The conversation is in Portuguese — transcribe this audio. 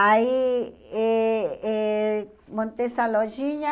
Aí eh eh montei essa lojinha.